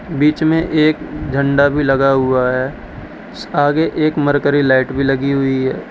बीच में एक झंडा भी लगा हुआ है आगे एक मरकरी लाइट भी लगी हुई है।